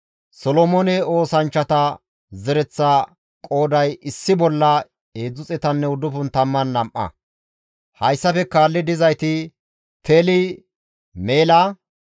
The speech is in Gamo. Ha asati Dallaya, Xoobbiyanne Neqoda qommota giddon gujjetteettes; istta qoodaykka 652;